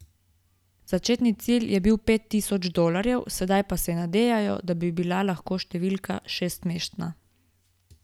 Začetni cilj je bil pet tisoč dolarjev, sedaj pa se nadejajo, da bi bila številka lahko šestmestna.